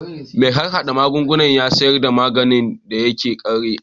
Mai harhada magunguna ya sayar da maganin da ya ƙare